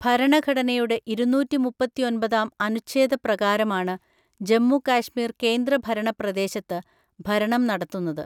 ഭരണഘടനയുടെ ഇരുന്നൂറ്റി മുപ്പത്തിഒന്‍പതാം അനുച്ഛേദപ്രകാരമാണ് ജമ്മു കാശ്മീർ കേന്ദ്രഭരണ പ്രദേശത്ത് ഭരണം നടത്തുന്നത്.